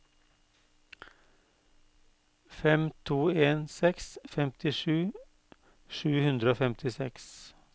fem to en seks femtisju sju hundre og femtiseks